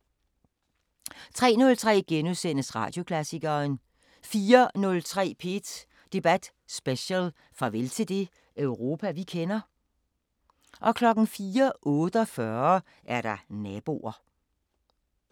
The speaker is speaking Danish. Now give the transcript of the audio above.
03:03: Radioklassikeren * 04:03: P1 Debat Special: Farvel til det Europa vi kender? 04:48: Naboer